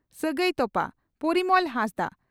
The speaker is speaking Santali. ᱥᱟᱹᱜᱟᱹᱭ ᱛᱚᱯᱟ (ᱯᱚᱨᱤᱢᱚᱞ ᱦᱟᱸᱥᱫᱟ)